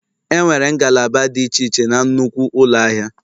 Enwere ngalaba dị iche iche na nnukwu ụlọ ahịa